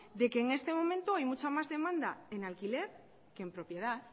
de que en este momento hay mucha más demanda en alquiler que en propiedad